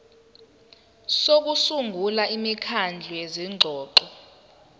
sokusungula imikhandlu yezingxoxo